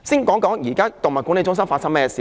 我先談談動物管理中心。